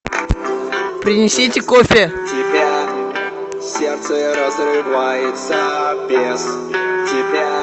принесите кофе